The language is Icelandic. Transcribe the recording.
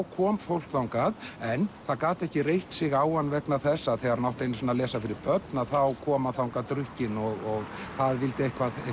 kom fólk þangað en það gat ekki reitt sig á hann vegna þess að þegar hann átti einu sinni að lesa fyrir börn þá kom hann þangað drukkinn og það vildi eitthvað